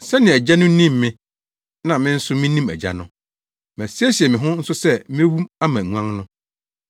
sɛnea Agya no nim me na me nso minim Agya no. Masiesie me ho nso sɛ mewu ama nguan no.